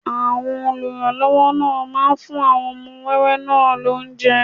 Àwọn olùrànlọ́wọ́ náà máa fún àwọn ọmọ wẹ́wẹ́ náà lóúnjẹ